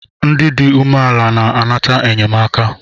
Ndị dị umeala na-anata enyemaka